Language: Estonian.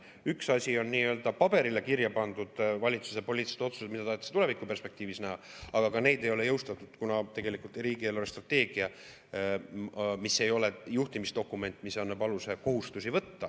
Üks asi on paberile kirja pandud valitsuse poliitilised otsused, mida tahetakse tulevikuperspektiivis näha, aga neid ei ole jõustatud, kuna tegelikult riigi eelarvestrateegia ei ole juhtimisdokument, mis annab aluse kohustusi võtta.